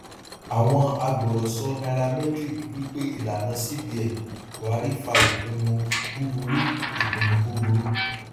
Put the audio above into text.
àwọn agbọrọsọ nairametrics wí pé ìlànà cbn buhari fa ipinnu búburú ipinnu búburú